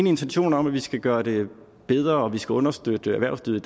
i intentionen om at vi skal gøre det bedre og vi skal understøtte erhvervslivet